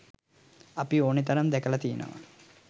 අපි ඕනි තරම් දැකල තියෙනව.